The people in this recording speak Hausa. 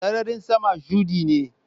Sararin sama shudi ne.